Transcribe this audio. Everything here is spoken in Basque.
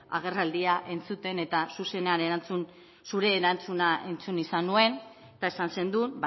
agerraldia entzuten eta zuzenean zure erantzuna entzun izan nuen eta esan zenuen